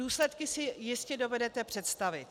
Důsledky si jistě dovedete představit.